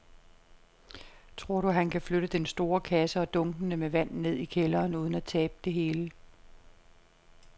Tror du, at han kan flytte den store kasse og dunkene med vand ned i kælderen uden at tabe det hele?